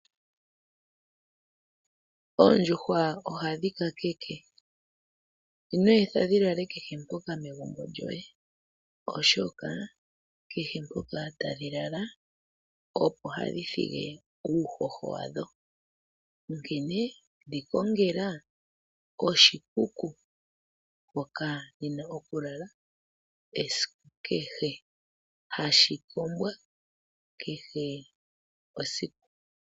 Oondjuhwa ohadhi ka keke, ino etha dhi lale kehe mpoka megumbo lyoye, oshoka kehe mpoka tadhi lala opo hadhi thigi uuhoho wadho, onkene dhi kongela oshikuku moka hadhi ningi hadhi lala esiku kehe, hashi kombwa kehe esiku.